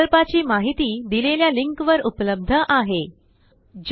प्रकल्पाची माहिती देलेल्या लिंक वर उपलब्ध आहे httpspoken tutorialorgWhat is a spoken tutorial